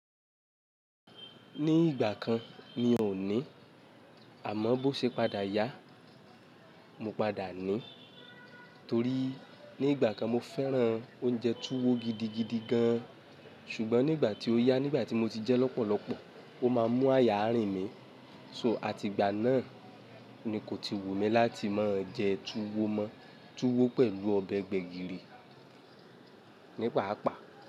Ní ìgbà kan ni ò ní. Àmọ́ bó ṣe padà yá, mo padà ní. Torí ní ìgbà kan mo fẹ́ràn oúnjẹ tuwo gidigidi gan. Ṣùgbọ́n nígbà tí ó yá, nígbà tí mo ti jẹ lọ́pọ̀lọpọ̀, ó má a mú aya rìn mí. So àti ìgbà náà ni kò ti wù mí láti máa jẹ tuwo mọ. Tuwo pẹ̀lú ọbẹ̀ gbẹ̀gìrì nípaàpá.